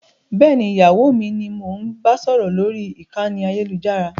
Bẹ́ẹ̀ni, ìyàwó mi ni mo ń bá sọ̀rọ̀ lórí ìkànnì ayélujára